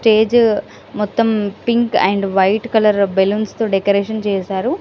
Stage మొత్తం pink and white colour balloons తో decoration చేసారు .